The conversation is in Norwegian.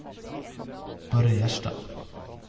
Børre Gjerstad